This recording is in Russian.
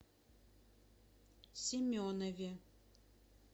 семенове